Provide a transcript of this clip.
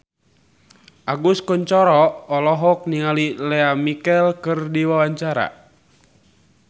Agus Kuncoro olohok ningali Lea Michele keur diwawancara